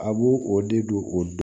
A b'o o de don o